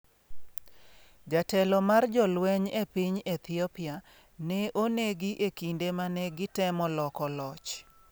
Jatelo mar jolweny e piny Ethiopia ne onegi e kinde mane gitemo loko loch